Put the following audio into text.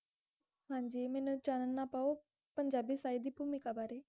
ਸਾਈ ਦੀ ਭੌਮਿਕ ਬਾਰੇ